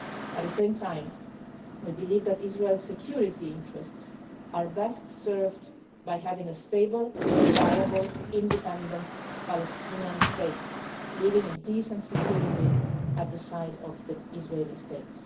At the same time, we believe that Israel's security interests are best served by having a stable, viable, independent Palestinian state living in peace and security at the side of the Israeli state.